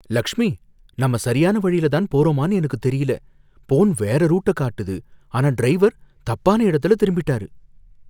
லக்ஷ்மி, நம்ம சரியான வழியில தான் போறோமானு எனக்கு தெரியல. ஃபோன் வேற ரூட்ட காட்டுது ஆனா டிரைவர் தப்பான இடத்துல திரும்பிட்டாரு.